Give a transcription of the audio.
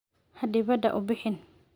Ha dibadda u bixin!